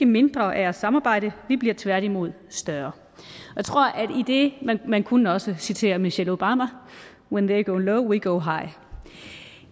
mindre af at samarbejde vi bliver tværtimod større man kunne også citere michelle obama when they go low we go high